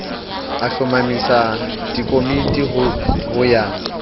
a hlomamisa dikomiti ho ya